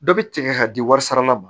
Dɔ bɛ tigɛ ka di warisaala ma